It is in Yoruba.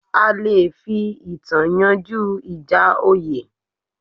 A le fi ìtàn yanjú ìjà oyè